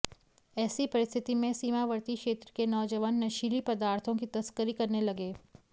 ऐसी परिस्थिति में सीमावर्ती क्षेत्र के नौजवान नशीली पदार्थों की तस्करी करने लगे